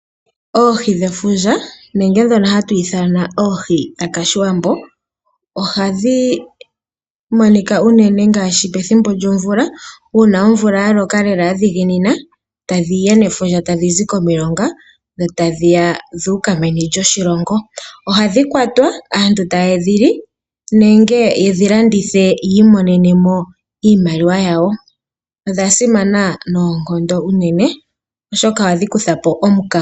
Oohi dhefundja nenge ndhono hatu ithana oohi dhakashiwambo ohadhi monika unene ngaashi pethimbo lyomvula , uuna omvula ya loka lela ya dhiginina tadhi ya nefundja, tadhi zi komilonga dho ta dhi ya dha uka meni lyoshilongo. Ohadhi kwatwa, aantu ta ye dhi li, nenge ye dhi landithe yi imonenemo iimaliwa yawo. Odha simana noonkondo unene oshoka ohadhi kutha po omukaga.